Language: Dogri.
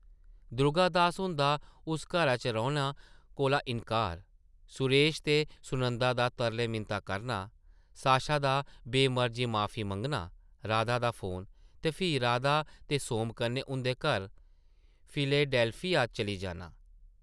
दुर्गा दास हुंदा उस घरा च रौह्ना कोला इन्कार; सुरेश ते सुनंदा दा तरले-मिनतां करना ; साशा दा बे-मर्जी माफी मंगना; राधा दा फोन ; ते फ्ही राधा ते सोम कन्नै उंʼदे घर फिलेडैल्फिया चली जाना ।